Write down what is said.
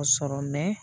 Sɔrɔ